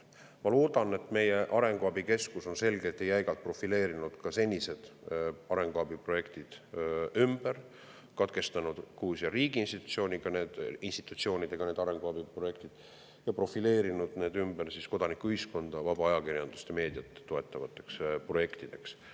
Ma loodan, et meie arenguabikeskus on selgelt ja jäigalt profileerinud senised arenguabiprojektid ümber, katkestanud Gruusia riigiinstitutsioonidele antud arenguabiprojektid ja profileerinud need ümber kodanikuühiskonda, vaba ajakirjandust, meediat toetatavateks projektideks.